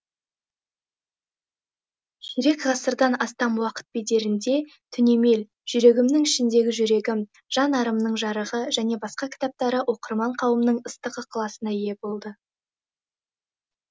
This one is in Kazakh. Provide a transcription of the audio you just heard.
ширек ғасырдан астам уақыт бедерінде түнемел жүрегімнің ішіндегі жүрегім жан арымның жарығы және басқа кітаптары оқырман қауымның ыстық ықыласына ие болды